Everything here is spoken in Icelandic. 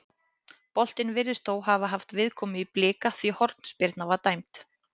Boltinn virðist þó hafa haft viðkomu í Blika því hornspyrna var dæmd.